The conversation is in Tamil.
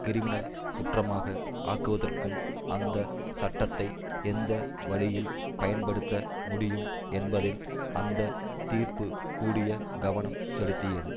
கிரிமினல் குற்றமாக ஆக்குவதற்கும் அந்த சட்டத்தை எந்த வழியில் பயன்படுத்த முடியும் என்பதில் அந்த தீர்ப்பு கூடிய கவனம் செலுத்தியது